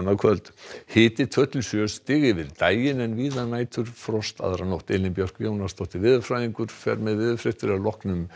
kvöld hiti tvö til sjö stig yfir daginn en víða næturfrost aðra nótt Elín Björk Jónasdóttir veðurfræðingur fer með veðurfregnir að loknum